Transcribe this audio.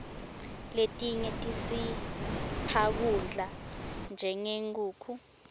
letinye tisipha kudla njengenkhukhu